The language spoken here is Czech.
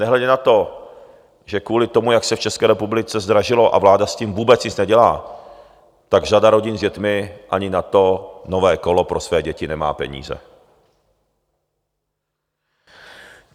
Nehledě na to, že kvůli tomu, jak se v České republice zdražilo, a vláda s tím vůbec nic nedělá, tak řada rodin s dětmi ani na to nové kolo pro své děti nemá peníze.